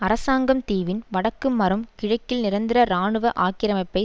அரசாங்கம் தீவின் வடக்கு மறும் கிழக்கில் நிரந்தர இராணுவ ஆக்கிரமிப்பை